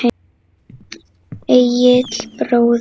Egill bróðir.